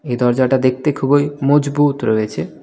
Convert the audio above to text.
এই দরজাটা দেখতে খুবই মজবুত রয়েছে.